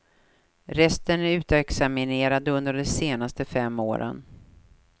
Resten är utexaminerade under de senaste fem åren.